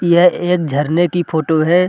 यह एक झरने की फोटो है।